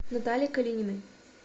наталье калининой